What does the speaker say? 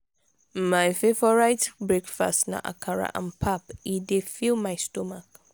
my favorite breakfast na akara and pap e dey fill my stomach.